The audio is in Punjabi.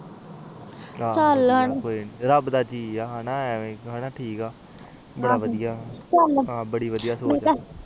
ਆਹ ਚਲ ਹੁਣ ਆਹੋ ਚਾਲ